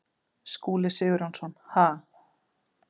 Skúli Sigurjónsson: Ha?